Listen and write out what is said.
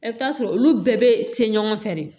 E bɛ t'a sɔrɔ olu bɛɛ bɛ se ɲɔgɔn fɛ de